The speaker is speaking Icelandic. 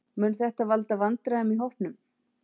Mun þetta valda vandræðum í hópnum?